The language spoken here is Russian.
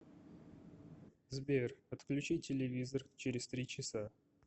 сбер отключи телевизор через три часа